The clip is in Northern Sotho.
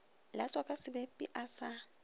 latswa ka sebepi a sa